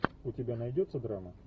у тебя найдется драма